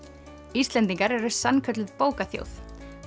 Íslendingar eru sannkölluð bókaþjóð